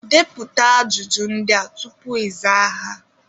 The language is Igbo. Detuo ajụjụ ndị a tupu ịza ha